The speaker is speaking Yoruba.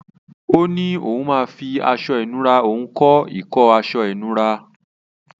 Ó ní òun máa fi aṣọ ìnura òun kọ́ ìkọ́ aṣọ ìnura.